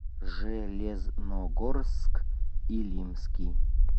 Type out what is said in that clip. железногорск илимский